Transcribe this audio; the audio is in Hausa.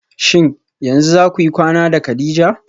Shin yanzu zakuyi kwana da kadija?